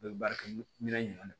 A bɛ baara kɛ minɛn jumɛn de